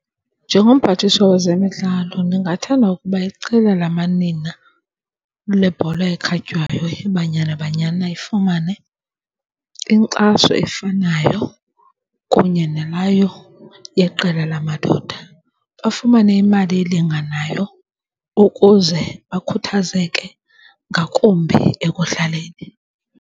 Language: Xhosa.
Njengomphathiswa wezemidlalo ndingathanda ukuba iqela lamanina lebhola ekhatywayo iBanyana Banyana ifumane inkxaso eyifanayo kunye naleyo yeqela lamadoda. Bafumane imali elinganayo ukuze bakhuthazeke ngakumbi ekudlaleni.